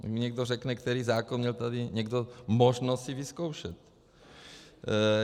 Ať mi někdo řekne, který zákon měl tady někdo možnost si vyzkoušet.